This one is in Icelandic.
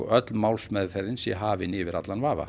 öll málsmeðferð sé hafin yfir vafa